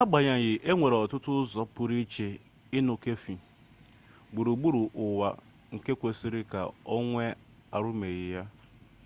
n’agbanyeghị e nwere ọtụtụ ụzọ pụrụiche ịn̄ụ kọfị gburugburu ụwa nke kwesịrị ka e nwee ahụmihe ha